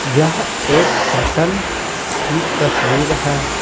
यह एक होटल की तस्वीर है।